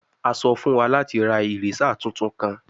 A sọ fun wa lati ra eraser tuntun kan